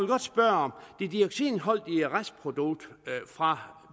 godt spørge det dioxinholdige restprodukt fra